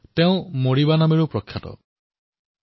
তেওঁ মাৰীবা নামেৰে প্ৰসিদ্ধি আছিল